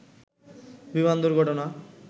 বিমান দুর্ঘটনা